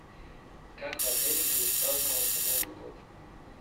как в отеле будет праздноваться новый год